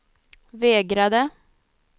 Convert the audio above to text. vägrade